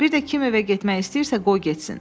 Hə, bir də kim evə getmək istəyirsə, qoy getsin.